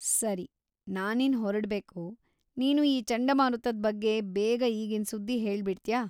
ಸರಿ, ನಾನಿನ್ನ್‌ ಹೊರಡ್ಬೇಕು, ನೀನು ಈ ಚಂಡಮಾರುತದ್ ಬಗ್ಗೆ ಬೇಗ‌ ಈಗಿನ್ ಸುದ್ದಿ ಹೇಳ್ಬಿಡ್ತ್ಯಾ?